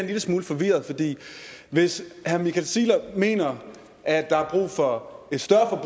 lille smule forvirret hvis herre michael ziegler mener at der er brug for et større